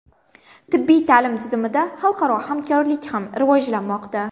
Tibbiy ta’lim tizimida xalqaro hamkorlik ham rivojlanmoqda.